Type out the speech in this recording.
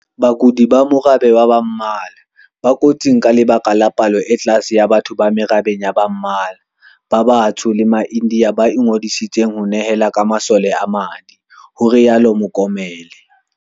"Bakudi ba morabe wa ba mmala, ba kotsing ka lebaka la palo e tlase ya batho ba merabeng ya ba mmala, ba batsho le ma-India ba ingodiseditseng ho nehela ka masole a madi," ho rialo Mokomele.